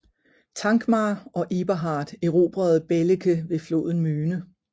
Thankmar og Eberhard erobrede Belecke ved floden Möhne